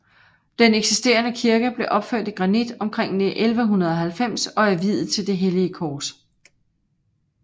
Den eksisterende kirke blev opført i granit omkring 1190 og er viet til det hellige kors